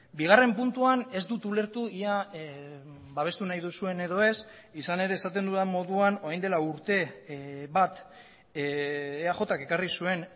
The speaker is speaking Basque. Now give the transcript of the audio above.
bigarren puntuan ez dut ulertu ia babestu nahi duzuen edo ez izan ere esaten dudan moduan orain dela urte bat eajk ekarri zuen